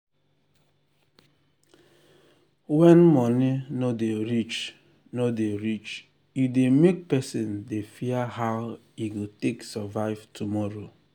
when money no dey reach no dey reach e dey make person dey fear how e go take survive tomorrow.